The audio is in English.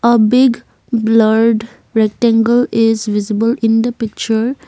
a big blurred rectangle is visible in the picture.